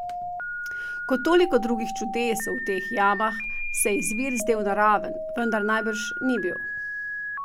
Kot toliko drugih čudes v teh jamah se je izvir zdel naraven, vendar najbrž ni bil.